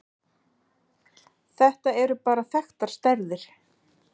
Þetta eru bara þekktar stærðir.